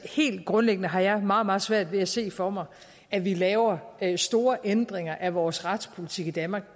helt grundlæggende har jeg meget meget svært ved at se for mig at vi laver store ændringer af vores retspolitik i danmark